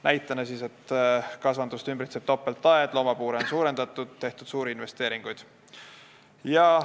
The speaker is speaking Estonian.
Näitena ta tõi, et kasvandust ümbritseb topeltaed, loomapuure on suurendatud ja on tehtud suuri investeeringuid.